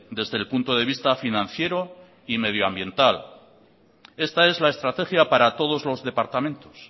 desde el punto de vista financiero y medioambiental esta es la estrategia para todos los departamentos